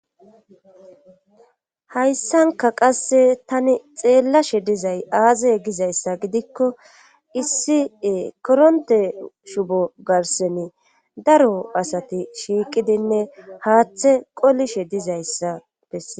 hayssanka qasse tani xeellashe dizay aazey gizayssa gidikko issi koronte shubo garseni daro asati shiiqidinne haaththe qolishe dizayssa besse